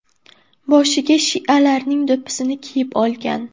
Boshiga shialarning do‘ppisini kiyib olgan.